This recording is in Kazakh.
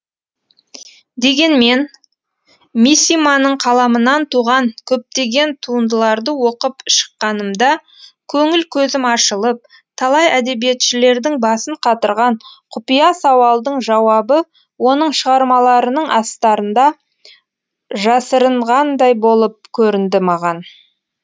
дегенмен мисиманың қаламынан туған көптеген туындыларды оқып шыққанымда көңіл көзім ашылып талай әдебиетшілердің басын қатырған құпия сауалдың жауабы оның шығармаларының астарында жасырынғандай болып көрінді маған